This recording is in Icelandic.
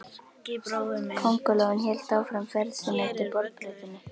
Kóngulóin hélt áfram ferð sinni eftir borðplötunni.